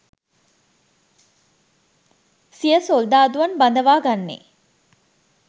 සිය සොල්දාදුවන් බදවා ගන්නේ